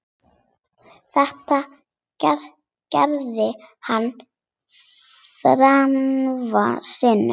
Þetta gerði hann þrisvar sinnum.